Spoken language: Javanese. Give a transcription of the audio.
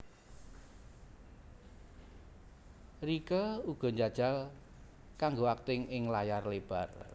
Rieke uga njajal kanggo akting ing layar lebar